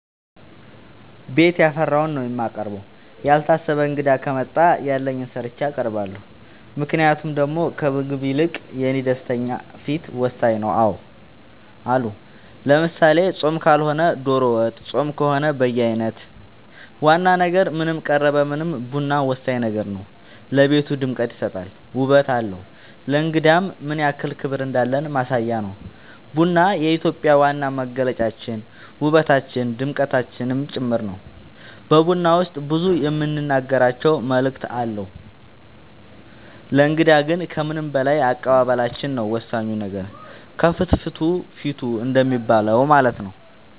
ቤት ያፈራውን ነው የማቀርበው ያልታሰበ እንግዳ ከመጣ ያለኝን ሰርቼ አቀርባለሁ ምክንያቱም ደሞ ከምግቡ ይልቅ የኔ ደስተኛ ፊት ወሳኝ ነው አዎ አሉ ለምሳሌ ፆም ካልሆነ ዶሮ ወጥ ፆም ከሆነ በየአይነት ዋና ነገር ምንም ቀረበ ምንም ቡና ወሳኝ ነገር ነው ለቤቱ ድምቀት ይሰጣል ውበት አለው ለእንግዳም ምንያክል ክብር እንዳለን ማሳያ ነው ቡና የኢትዮጵያ ዋና መገለጫችን ውበታችን ድምቀታችን ጭምር ነው በቡና ውስጥ ብዙ የምንናገራቸው መልዕክት አለው ለእንግዳ ግን ከምንም በላይ አቀባበላችን ነው ወሳኙ ነገር ከፍትፍቱ ፊቱ እንደሚባለው ማለት ነው